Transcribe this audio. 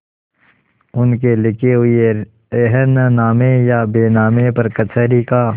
उनके लिखे हुए रेहननामे या बैनामे पर कचहरी का